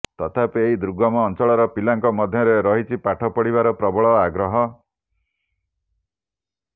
ତଥାପି ଏହି ଦୁର୍ଗମ ଅଞ୍ଚଳର ପିଲାଙ୍କ ମଧ୍ୟରେ ରହିଛି ପାଠ ପଢିବାର ପ୍ରବଳ ଆଗ୍ରହ